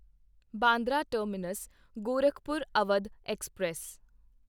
Bandra terminus Gorakhpur Awadh express